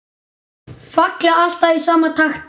Falla alltaf í sama takti.